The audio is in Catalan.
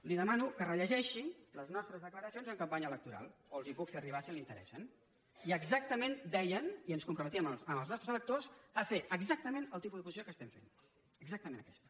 li demano que rellegeixi les nostres declaracions en campanya electoral o les hi puc fer arribar si li interessen i exactament dèiem i ens comprometíem amb els nostres electors a fer exactament el tipus d’oposició que estem fent exactament aquesta